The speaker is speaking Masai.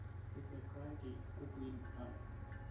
tipikaki kukui dum